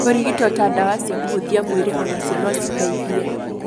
Kũrigito ta ndawa cia kũhũthia mwĩrĩ onacio no citeithie.